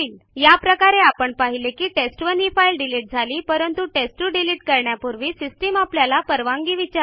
अशा प्रकारे आपण पाहिले की टेस्ट1 ही फाईल डिलिट झाली परंतु टेस्ट2 डिलिट करण्यापूर्वी सिस्टीम आपल्याला परवानगी विचारते